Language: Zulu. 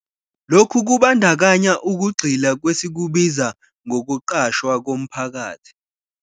Lokhu kubandakanya ukugxila kwesikubiza 'ngokuqashwa komphakathi'.